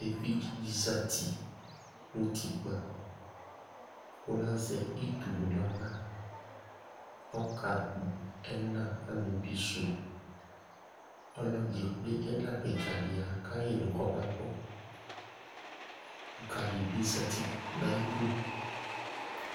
evidze di zati no utikpa kò lazɛ itunu n'ala ɔka kpɔ ɛna amebi sò ɔlo ye kple ɛna keka di ya ka yi no kɔma gbɔ ɔluka di bi zati n'ayidu